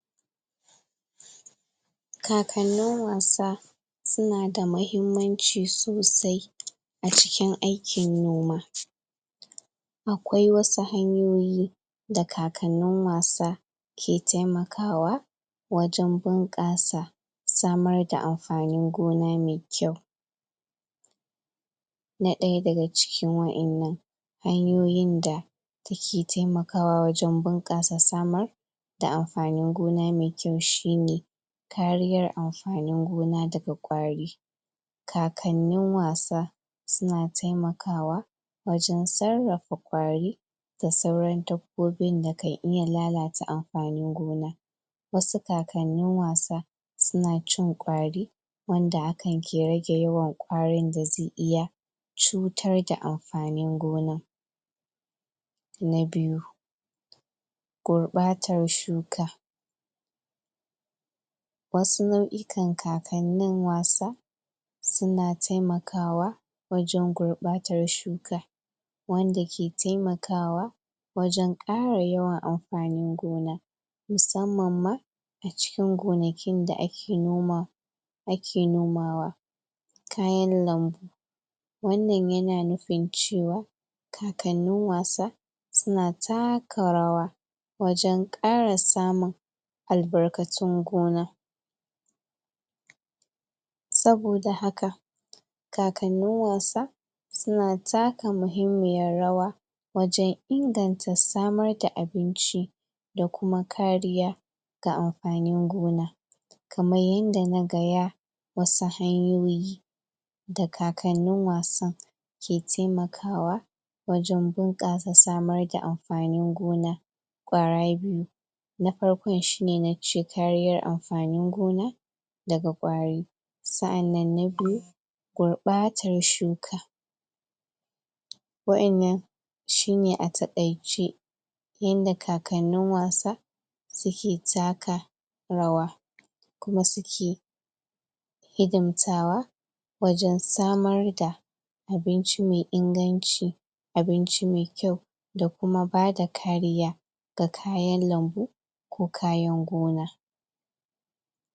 Kakanin wasa su na da mahimmanci sosai a cikin aikin noma akwai wasu hanyoyi da kakanin wasa ke taimakawa wajen bunkasa samar da amfanin gona mai kyau na daya da ga cikin waƴennan hanyoyin da da ke taimakawa wajen bankasa samur da amfanin gona mai kyau shi ne kariyar amfanin gona da kwari kakanin wasa su na taimakawa wajen tsarafa kwari da sauran dabbobin da kan iya lalatta amfanin gona wasu kakanin wasa su na cin kwari wanda akan ke rage yawan kwarorin da zai iya cutar da amfanin gona. Na biyu gurbatar shuka wasu nauyukan kakkanin wasa su na taimakawa wajen gurbatar shuka wanda ke taimakawa wajen kara yawan amfanin gona musamman ma a cikin gonakin da a ke noma a ke nomawa kayan lambu wannan ya na nufin cewa kakannin wasa, su na takka rawa wajen kara samun, albarkatun gona. Saboda haka kakanin wasa su na takka mahimmiyar rawa wajen inganta samar da abinci da kuma kariya, ga amfanin gona. kamar yanda na gaya wasu hanyoyi da kakanin wasan ke taimakawa wajen bunkasa samar da amfanin gona Kwara biyu na farko shi ne na cikarriyar amfanin gona da ga kwarori, tsaanan na biyu gurbatar shuka Waƴannan shi ne a takaice yanda kakanin wasa su ke takka rawa kuma su ke hidimtawa wajen samar da abinci mai inganci abinci mai kyau da ku ma ba da kariya ga kayan lambu ko kayan gona